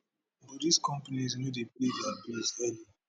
but dis companies no dey pay dia early